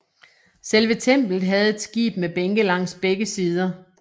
Selve templet havde et skib med bænke langs begge sider